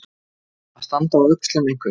Að standa á öxlum einhvers